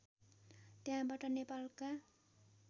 त्यहाँबाट नेपालका